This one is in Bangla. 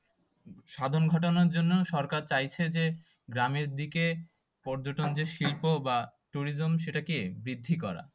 সাধারণ ঘটনার জন্যও সরকার চাইছে যে গ্রামের দিকে পর্যটন যে শিল্প বা tourism সেটাকে বৃদ্ধি করা।